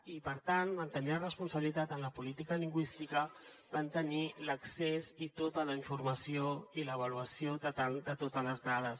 i per tant en tenir la responsabilitat en la política lingüística van tenir l’accés i tota la informació i l’avaluació de totes les dades